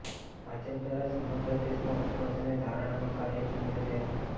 ભાજપ દ્વારા સમગ્ર દેશમાં ઉપવાસ અને ધરણાંનો કાર્યક્રમ યોજાયો હતો